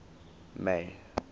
may